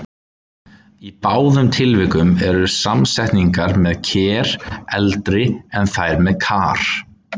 Í báðum tilvikum eru samsetningarnar með-ker eldri en þær með-kar.